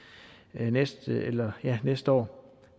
næste næste år